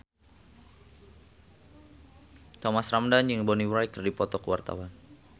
Thomas Ramdhan jeung Bonnie Wright keur dipoto ku wartawan